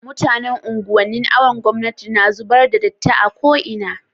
mutanan unguwan nin awon gomnati na zubar da datti a ko ina